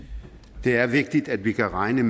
greje